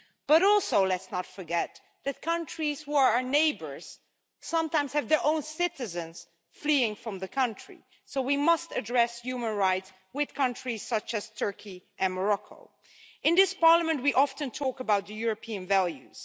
But also let's not forget that countries who are our neighbours sometimes have their own citizens fleeing from the country, so we must address human rights with countries such as Turkey and Morocco. In this Parliament we often talk about the European values.